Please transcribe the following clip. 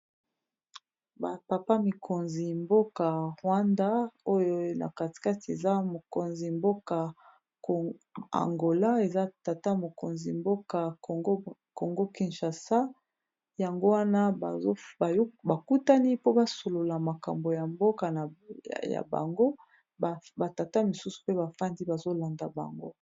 Ba papa mikonzi mboka rwanda oyo na katikati eza mokonzi mboka angola eza tata mokonzi mboka congo kinchasa yango wana bakutani po basolola makambo ya mboka ya bango batata misusu pe bafandi bazolanda bango.